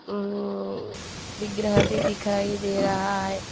ये लोग फ्रॉड करता है। पैसा देने के टाइम ब्लॉक कर देता है।